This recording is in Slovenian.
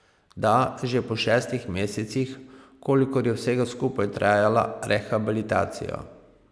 Da, že po šestih mesecih, kolikor je vsega skupaj trajala rehabilitacija.